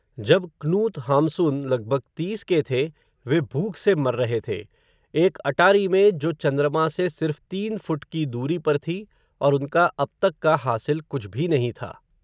जब, Knut Hamsun लगभग तीस के थे, वे भूख से मर रहे थे, एक अटारी में जो, चन्द्रमा से सिर्फ़, तीन फ़ुट की दूरी पर थी, और उनका, अब तक का हासिल कुछ भी नहीं था